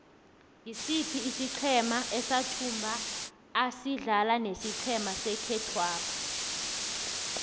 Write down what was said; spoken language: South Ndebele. ngisiphi isiqhema esathumbako asidlala nesiqhema sekhethwapha